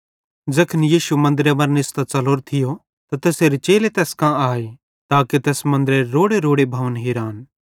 ज़ैखन यीशु मन्दरे मरां निस्तां च़लोरो थियो ते तैसेरे चेले तैस कां आए ताके तैस मन्दरेरे रोड़ेरोड़े भवन हिरान